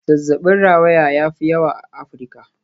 Zazzabin rawaya ya fi yawa a Afirka.